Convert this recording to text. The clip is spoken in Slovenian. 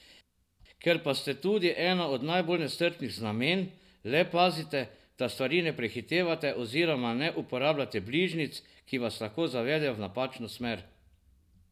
Ker pa ste tudi eno od najbolj nestrpnih znamenj, le pazite, da stvari ne prehitevate oziroma ne uporabljate bližnjic, ki vas lahko zavedejo v napačno smer.